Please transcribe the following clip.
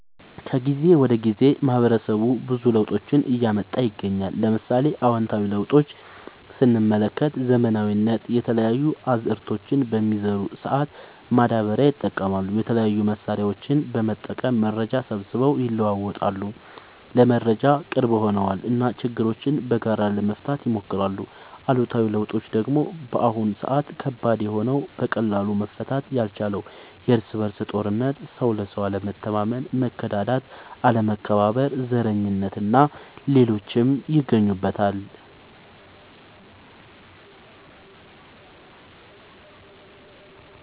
ከጊዜ ወደ ጊዜ ማህበረሰቡ ብዙ ለውጦችን እያመጣ ይገኛል። ለምሳሌ፦ አዎንታዊ ለውጦች ስንመለከት ዘመናዊነት፣ የተለያዩ አዝዕርቶችን በሚዘሩ ሰአት ማዳበሪያ ይጠቀማሉ፣ የተለያዩ መሳሪያዎችን በመጠቀም መረጃ ሰብስበው ይለዋወጣሉ (ለመረጃ ቅርብ ሆነዋል ) እና ችግሮችን በጋራ ለመፍታት ይሞክራሉ። አሉታዊ ለውጦች ደግሞ በአሁን ሰአት ከባድ የሆነው በቀላሉ መፈታት ያልቻለው የርስ በርስ ጦርነት፣ ሰው ለሰው አለመተማመን፣ መከዳዳት፣ አለመከባበር፣ ዘረኝነት እና ሌሎችም ይገኙበታል።